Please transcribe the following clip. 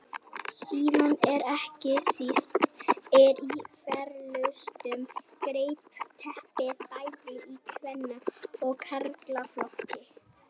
Síðast en ekki síst er í flestum greinum keppt bæði í kvenna og karlaflokki.